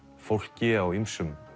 fólki á ýmsum